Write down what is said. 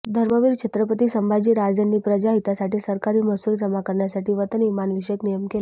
धर्मवीर छत्रपती संभाजीराजेंनी प्रजाहितासाठी सरकारी महसूल जमा करण्यासाठी वतन व इमानविषयिक नियम केले